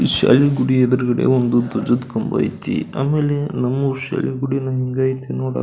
ಈ ಶೈನ್ ಗುಡಿ ಎದ್ರುಗಡೆ ಒಂದು ದ್ವಜದ ಕಂಬ ಐತಿ ಆಮೇಲೆ ನಮ್ಮೂರ ಶಾಲೆ ಗುಡಿನು ಹಿಂಗೆ ಐತಿ ನೋಡಕ್ --